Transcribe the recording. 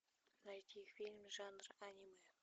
найти фильм жанр аниме